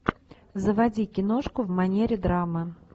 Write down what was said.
заводи киношку в манере драмы